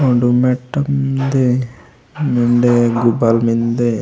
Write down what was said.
उडुम मेटम मेन्दे वेंडे गुबाल मेन्दे।